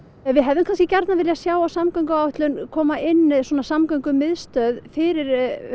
við hefðum kannski viljað sjá á samgönguáætlun koma inn samgöngumiðstöð fyrir